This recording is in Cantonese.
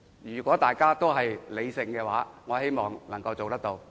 如果大家都作理性討論，我希望能夠達成共識。